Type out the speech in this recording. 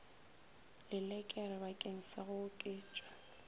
lelekere bakeng sa go oketša